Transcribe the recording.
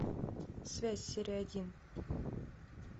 связь серия один